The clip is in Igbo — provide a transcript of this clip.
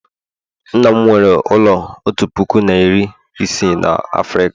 nna m nwere ụlọ otu puku na iri ise na Afrịka